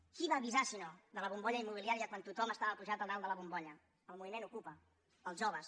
qui va avisar si no de la bombolla immobiliària quan tothom estava pujat a dalt de la bombolla el moviment ocupa els joves